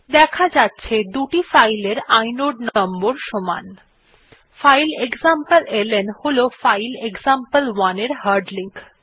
দেখা যাচ্ছে দুটি ফাইল এর ইনোড নম্বর সমান ফাইল এক্সামপ্লেলন হল ফাইল এক্সাম্পল1 এর হার্ড লিঙ্ক